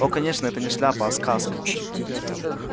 о конечно это не шляпа а сказка